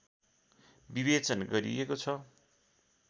विवेचन गरिएको छ